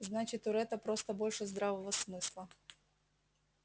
значит у ретта просто больше здравого смысла